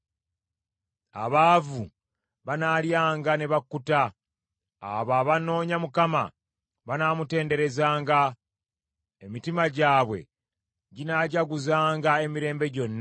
Abaavu banaalyanga ne bakkuta, abo abanoonya Mukama banaamutenderezanga. Emitima gyabwe ginaajaguzanga emirembe gyonna.